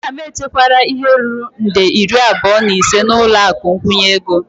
Nna m echekwala ihe ruru nde iri abụọ na ise n'ụlọ akụ nkwụnye ego.